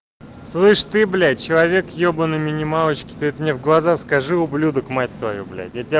слышишь ты блять человек ебанный минималочки ты это мне в глаза скажи ублюдок мать твою блять я тебя